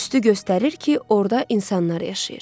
Tüstü göstərir ki, orda insanlar yaşayır.